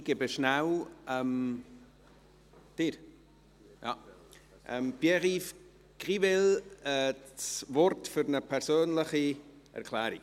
Ich gebe kurz Pierre-Yves-Grivel das Wort für eine persönliche Erklärung.